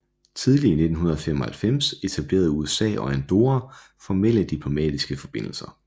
Tidlig i 1995 etablerede USA og Andorra formelle diplomatiske forbindelser